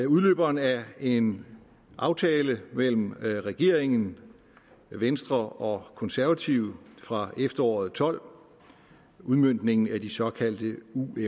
udløberen af en aftale mellem regeringen venstre og konservative fra efteråret og tolv udmøntningen af de såkaldte